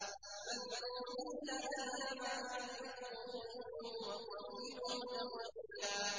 مَّلْعُونِينَ ۖ أَيْنَمَا ثُقِفُوا أُخِذُوا وَقُتِّلُوا تَقْتِيلًا